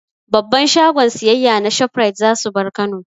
Babban shagon siyayya na Shoprite za su bar Kano.